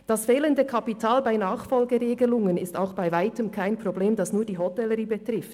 Das fehlende Kapital bei Nachfolgeregelungen ist bei Weitem kein Problem, das nur die Hotellerie betrifft.